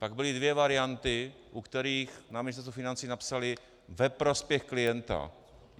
Pak byly dvě varianty, u kterých na Ministerstvu financí napsali: Ve prospěch klienta.